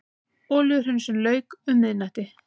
Olíuhreinsun lauk um miðnættið